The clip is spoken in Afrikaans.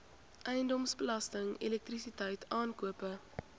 eiendomsbelasting elektrisiteit aankope